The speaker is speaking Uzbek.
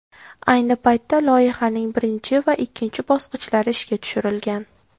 Ayni paytda loyihaning birinchi va ikkinchi bosqichlari ishga tushirilgan.